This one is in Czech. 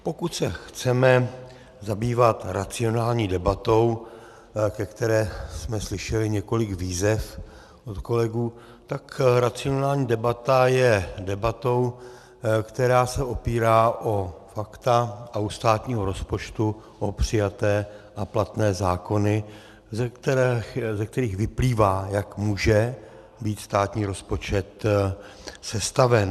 Pokud se chceme zabývat racionální debatou, ke které jsme slyšeli několik výzev od kolegů, tak racionální debata je debatou, která se opírá o fakta a u státního rozpočtu o přijaté a platné zákony, ze kterých vyplývá, jak může být státní rozpočet sestaven.